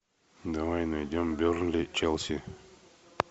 давай найдем бернли челси